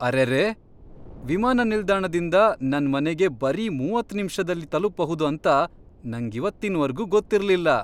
ಅರೆರೇ! ವಿಮಾನ ನಿಲ್ದಾಣದಿಂದ ನನ್ ಮನೆಗೆ ಬರೀ ಮೂವತ್ತ್ ನಿಮಿಷ್ದಲ್ಲಿ ತಲುಪ್ಬಹುದು ಅಂತ ನಂಗಿವತ್ತಿನ್ವರ್ಗೂ ಗೊತ್ತಿರ್ಲಿಲ್ಲ.